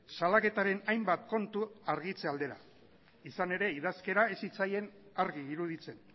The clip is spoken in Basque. salaketaren hainbat kontu argitze aldera izan ere idazkera ez zitzaien argi iruditzen